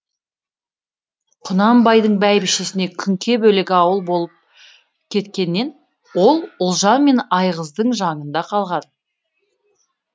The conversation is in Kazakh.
құнанбайдың бәйбішесі күнке бөлек ауыл болып кеткеннен ол ұлжан мен айғыздың жаңында қалған